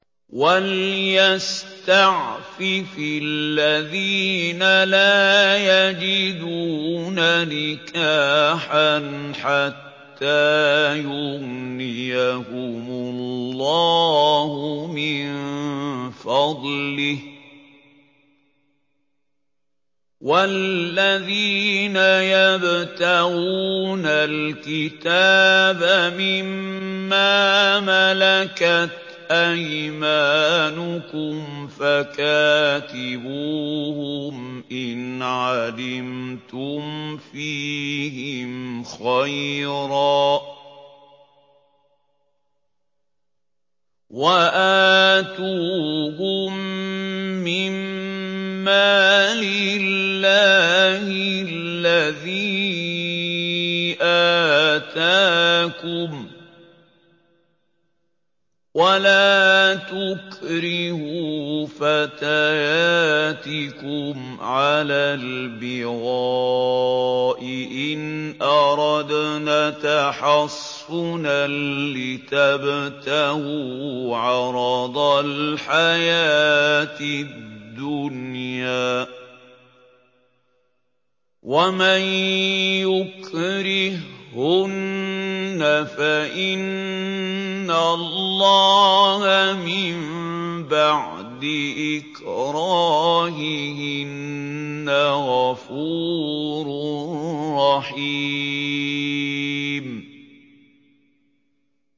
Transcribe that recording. وَلْيَسْتَعْفِفِ الَّذِينَ لَا يَجِدُونَ نِكَاحًا حَتَّىٰ يُغْنِيَهُمُ اللَّهُ مِن فَضْلِهِ ۗ وَالَّذِينَ يَبْتَغُونَ الْكِتَابَ مِمَّا مَلَكَتْ أَيْمَانُكُمْ فَكَاتِبُوهُمْ إِنْ عَلِمْتُمْ فِيهِمْ خَيْرًا ۖ وَآتُوهُم مِّن مَّالِ اللَّهِ الَّذِي آتَاكُمْ ۚ وَلَا تُكْرِهُوا فَتَيَاتِكُمْ عَلَى الْبِغَاءِ إِنْ أَرَدْنَ تَحَصُّنًا لِّتَبْتَغُوا عَرَضَ الْحَيَاةِ الدُّنْيَا ۚ وَمَن يُكْرِههُّنَّ فَإِنَّ اللَّهَ مِن بَعْدِ إِكْرَاهِهِنَّ غَفُورٌ رَّحِيمٌ